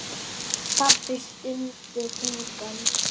Pabbi stundi þungan.